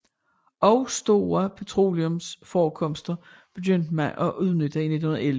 Også store petroleumforekomster begyndte man at udnytte i 1911